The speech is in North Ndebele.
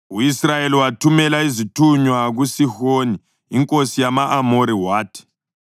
U-Israyeli wathumela izithunywa kuSihoni inkosi yama-Amori wathi: